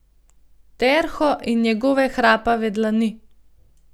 Terho in njegove hrapave dlani.